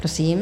Prosím.